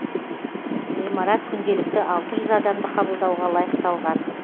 ғимарат күнделікті алты жүз адамды қабылдауға лайықталған